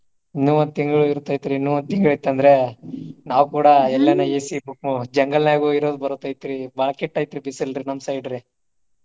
ಇನ್ನು ಒಂದು ತಿಂಗಳ ಇರ್ತೆತ್ರಿ ಇನ್ನು ಒಂದು ತಿಂಗಳ ಇತ್ತ ಅಂದ್ರ ನಾವ ಕೂಡಾ ಎಲ್ಯಾನ AC jungle ನ್ಯಾಗ ಹೋಗಿ ಇರುದ ಬರ್ತೇತ್ರಿ ಬಾಳ ಕೆಟ್ಟ ಐತ್ರಿ ಬಿಸಿಲ್ರಿ ನಮ್ಮ side ರಿ.